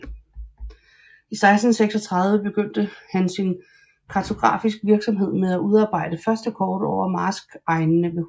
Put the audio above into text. I 1636 begyndte han sin kartografisk virksomhed med at udarbejde første kort over marskegnene ved Husum